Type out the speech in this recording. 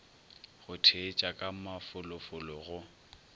go theetša ka mafolofolo go